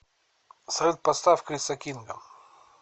салют поставь криса кинга